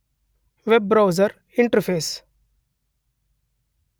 web browser interface